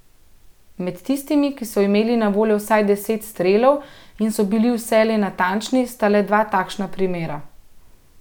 Med tistimi, ki so imeli na voljo vsaj deset strelov in so bili vselej natančni, sta le dva takšna primera.